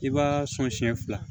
I b'a sɔn siɲɛ fila